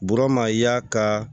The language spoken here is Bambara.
Burama y'a ka